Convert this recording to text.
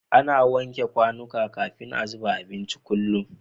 Ana wanke kwanika kafin a zuba abinci kullum